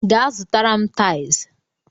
Gaa zụtara m taịls!